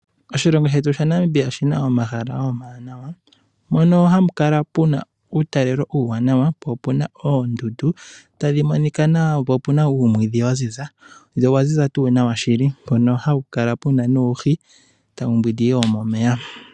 Oshilongo shetu shaNamibia oshi na omahala omawanawa mono hamu kala pu na uutalelo uuwanawa, po opu na oondundu tadhi monika nawa, po opu na uumwiidhi wa ziza. Ndele owa ziza tuu nawa tuu shili mpono hawu kala pu na nuuhi tawu mbwindi yo momeya.